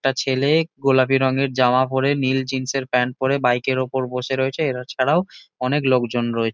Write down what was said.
একটা ছেলে-এ গোলাপি রঙের জামা পড়ে নীল জিন্স -এর প্যান্ট পড়ে বাইক -এর ওপর বসে রয়েছে। এরা ছাড়াও অনেক লোকজন রয়ে--